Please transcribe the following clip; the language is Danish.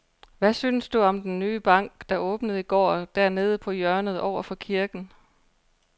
Hvad synes du om den nye bank, der åbnede i går dernede på hjørnet over for kirken?